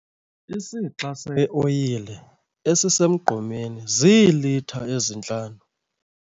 Isixa seoyile esisemgqomeni ziilitha ezintlanu.